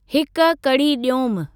हिक कढ़ी ॾियोमि।